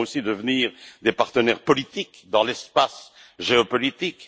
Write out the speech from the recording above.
Nous devons aussi devenir des partenaires politiques dans l'espace géopolitique.